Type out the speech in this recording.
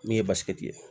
Min ye basigi ye